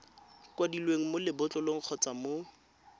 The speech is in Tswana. kwadilweng mo lebotlolong kgotsa mo